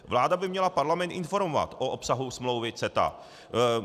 Vláda by měla Parlament informovat o obsahu smlouvy CETA.